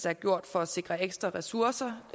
er gjort for at sikre ekstra ressourcer